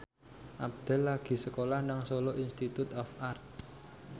Abdel lagi sekolah nang Solo Institute of Art